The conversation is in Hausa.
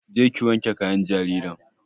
Je ki wanke kayan jaririn!